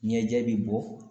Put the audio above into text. Ɲɛjɛ bi bɔ